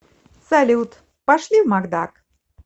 салют пошли в макдак